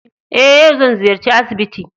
Eh yau zan ziyarci asibiti.